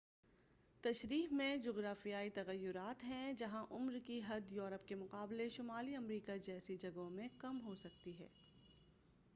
تشریح میں جغرافیائی تغیرات ہیں جہاں عمر کی حد یورپ کے مقابلے شمالی امریکہ جیسی جگہوں میں کم ہوسکتی ہے